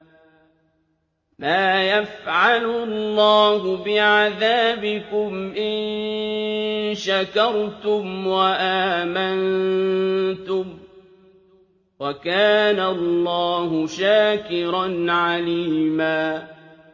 مَّا يَفْعَلُ اللَّهُ بِعَذَابِكُمْ إِن شَكَرْتُمْ وَآمَنتُمْ ۚ وَكَانَ اللَّهُ شَاكِرًا عَلِيمًا